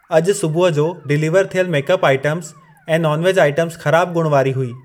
अॼु सुबुह जो डिलीवर थियल मेकअप आइटम्स ऐं नॉन वेज आइटम्स ख़राब गुण वारी हुई।